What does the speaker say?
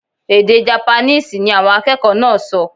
Èdè Japaníìsì ni awọn akẹkọ naa so